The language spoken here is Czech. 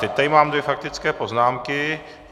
Teď tady mám dvě faktické poznámky.